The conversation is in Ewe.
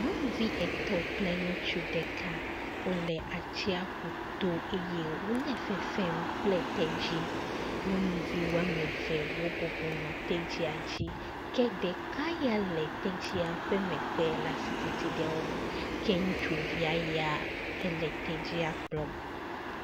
Nyɔnuvi etɔ̃ kple ŋutsu ɖeka, wole atsiaƒu to eye wole fefem kple tedzi. Nyɔnuvi woame ve wobɔbɔ nɔ tedzia dzi, ke ɖeka ya le tedzia ƒe megbe le asi titim ɖe ŋu. ke ŋutsuvia ya, ele tedzia kplɔm.